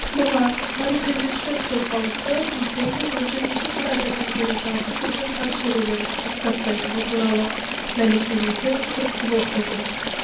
бұған сары кеудешелер қозғалысы өздерінің он жетінші қарашадан бері жалғасып жатқан шерулерін тоқтатпайтыны туралы мәлімдемесі түрткі болса керек